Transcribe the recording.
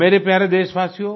मेरे प्यारे देशवासियो